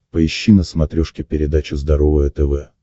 поищи на смотрешке передачу здоровое тв